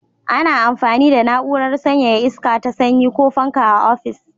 Ana amfani da na'urar sanyaya iska ta sanyi ko fanka a ofis.